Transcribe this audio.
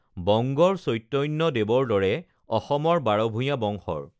বংগৰ চৈতন্য দেৱৰ দৰে অসমৰ বাৰভূঞা বংশৰ